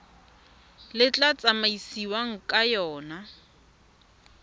le tla tsamaisiwang ka yona